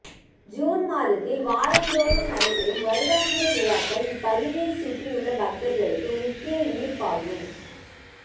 June மாதத்தில் வாரந்தோறும் நடைபெறும் வருடாந்திர விழாக்கள் இப்பகுதியைச் சுற்றியுள்ள பக்தர்களுக்கு முக்கிய ஈர்ப்பாகும்